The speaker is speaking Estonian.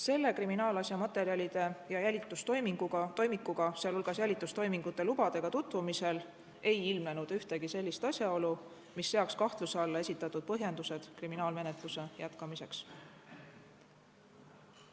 Selle kriminaalasja materjalide ja jälitustoimikuga, sh jälitustoimingute lubadega tutvumisel ei ilmnenud ühtegi sellist asjaolu, mis seaks kahtluse alla esitatud põhjendused kriminaalmenetluse jätkamiseks.